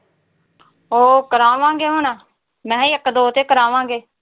ਉਹ ਕਰਾਵਾਂਗੇ ਹੁਣ। ਨਈਂ ਇੱਕ ਦੋ ਤੋਂ ਕਰਾਵਾਂਗੇ।